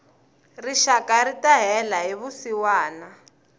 rixaka rita hela hi vusiwana